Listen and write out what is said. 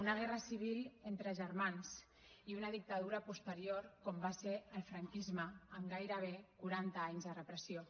una guerra civil entre germans i una dictadura posterior com va ser el franquisme amb gairebé quaranta anys de repressió